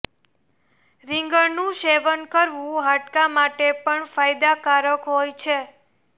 રીંગણનું સેવન કરવુ હાડકા માટે પણ ફાયદાકારક હોય છે